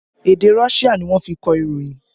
Èdè Russia ni wọ́n fi kọ ìròyìn